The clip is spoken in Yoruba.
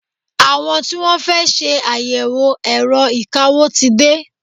Àwọn tí Wọ́n fẹ́ ṣe àyẹ̀wò ẹ̀rọ ìkawó ti dé.